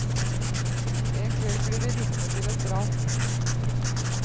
En kveld blir de vitne til et drap.